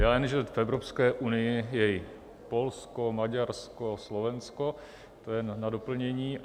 Já jen, že v Evropské unii je i Polsko, Maďarsko, Slovensko, to jen na doplnění.